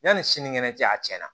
Yanni sini kɛnɛ cɛ a tiɲɛna